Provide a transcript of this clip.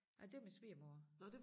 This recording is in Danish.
Nej det var min svigermor